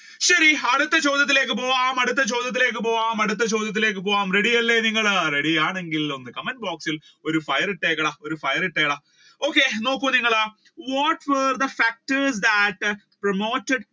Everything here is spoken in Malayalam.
ശരി അടുത്ത ചോദ്യത്തിലേക്ക് പോകാം അടുത്ത ചോദ്യത്തിലേക്ക് പോകാം അടുത്ത ചോദ്യത്തിലേക്ക് പോകാം ready അല്ലെ നിങ്ങൾ ready ആണെങ്കിൽ നിങ്ങൾ comment box ഇൽ ഒരു fire ഇട്ടെടാ ഒരു fire ഇട്ടെടാ okay നോക്കൂ നിങ്ങൾ what were the factors that promoted